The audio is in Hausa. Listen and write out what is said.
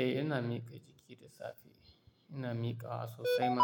Eh, ina miƙa jiki da safe. Ina miƙawa sosai ma,